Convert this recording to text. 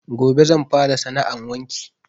Gobe zan fara sana 'an wanki